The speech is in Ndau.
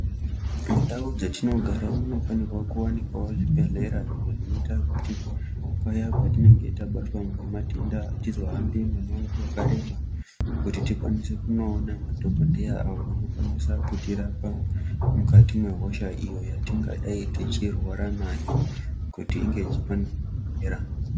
Mundau dzatinogara munofanira kuwanikwa zvibhehlera zvekuita kuti paye patinege tabatwa nematenda atizohambi mumango wakareba kuti tikwanise kunoona madhokodheya ayo anokwanisa kutirapa mukati mwehosha iyo yatinenge tichirwara nayo kuti inge ichikwanise kupera.